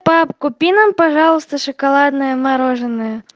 пап купи нам пожалуйста шоколадное мороженое